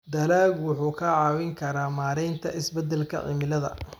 Dalaggu wuxuu kaa caawin karaa maaraynta isbeddelka cimilada.